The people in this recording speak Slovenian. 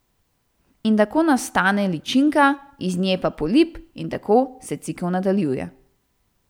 In tako nastane ličinka, iz nje pa polip, in tako se cikel nadaljuje.